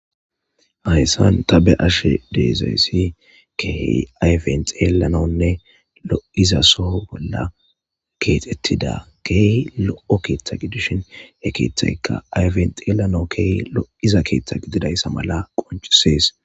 Hayssan ta be'ashe de'izayssi keehi ayfen xeelanawne lo'iza soho bolla keexetida keehi lo'o keeththa gidishin he keeththyka ayfen xeelanaw keehi lo'iza keeththa gididaysa mala qoncises.